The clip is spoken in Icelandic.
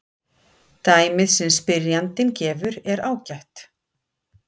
Dæmið sem spyrjandinn gefur er ágætt.